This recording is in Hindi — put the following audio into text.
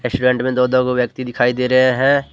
रेस्टुरेंट में दो दो वो व्यक्ति दिखाई दे रहे है ।